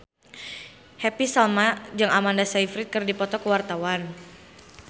Happy Salma jeung Amanda Sayfried keur dipoto ku wartawan